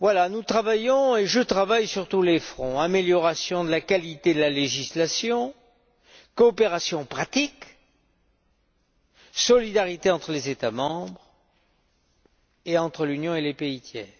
Nous travaillons, et je travaille, sur tous les fronts amélioration de la qualité de la législation, coopération pratique, solidarité entre les États membres, et entre l'Union et les pays tiers.